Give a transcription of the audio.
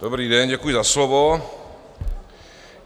Dobrý den, děkuji za slovo.